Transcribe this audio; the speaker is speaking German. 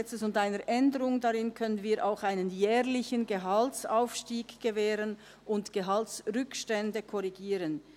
Dank dem LAG und einer Änderung darin können wir auch einen jährlichen Gehaltsaufstieg gewähren und Gehaltsrückstände korrigieren.